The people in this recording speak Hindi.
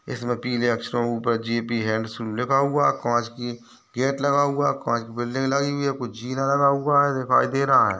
इसमें पीले अक्षरों ऊपर जे.पी. हंडसूल लिखा हुआ कांच कि गेट लगा हुआ है कांच बिल्डिंग लगी हुई हैं कुछ जिना लगा हुआ दिखाई दे रहा है।